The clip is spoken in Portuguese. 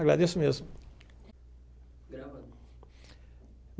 Agradeço mesmo.